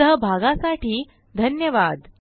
सहभागासाठी धन्यवाद